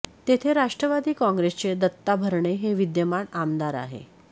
तेथे राष्ट्रवादी काँग्रेसचे दत्ता भरणे हे विद्यमान आमदार आहे